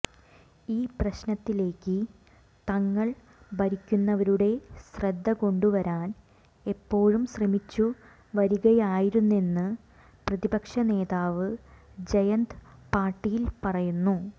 ഈ പ്രശ്നത്തിലേക്ക് തങ്ങൾ ഭരിക്കുന്നവരുടെ ശ്രദ്ധ കൊണ്ടുവരാൻ എപ്പോഴും ശ്രമിച്ചു വരികയായിരുന്നെന്ന് പ്രതിപക്ഷ നേതാവ് ജയന്ത് പാട്ടീൽ പറയുന്നു